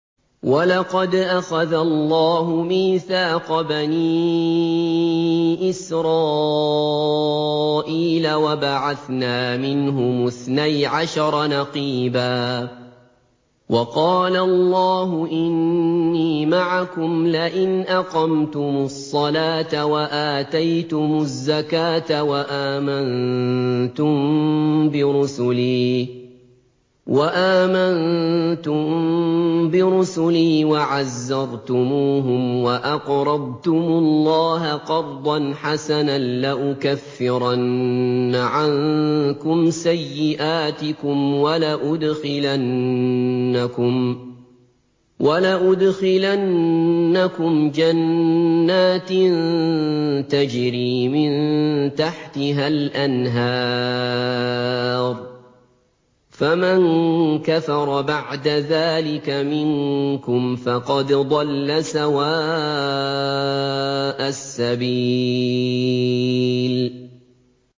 ۞ وَلَقَدْ أَخَذَ اللَّهُ مِيثَاقَ بَنِي إِسْرَائِيلَ وَبَعَثْنَا مِنْهُمُ اثْنَيْ عَشَرَ نَقِيبًا ۖ وَقَالَ اللَّهُ إِنِّي مَعَكُمْ ۖ لَئِنْ أَقَمْتُمُ الصَّلَاةَ وَآتَيْتُمُ الزَّكَاةَ وَآمَنتُم بِرُسُلِي وَعَزَّرْتُمُوهُمْ وَأَقْرَضْتُمُ اللَّهَ قَرْضًا حَسَنًا لَّأُكَفِّرَنَّ عَنكُمْ سَيِّئَاتِكُمْ وَلَأُدْخِلَنَّكُمْ جَنَّاتٍ تَجْرِي مِن تَحْتِهَا الْأَنْهَارُ ۚ فَمَن كَفَرَ بَعْدَ ذَٰلِكَ مِنكُمْ فَقَدْ ضَلَّ سَوَاءَ السَّبِيلِ